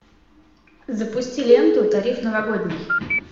запусти ленту тариф новогодний